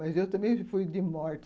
Mas eu também fui de morte.